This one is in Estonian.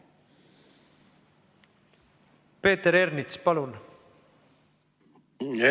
Peeter Ernits, palun!